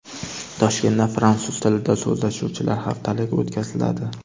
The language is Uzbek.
Toshkentda Fransuz tilida so‘zlashuvchilar haftaligi o‘tkaziladi.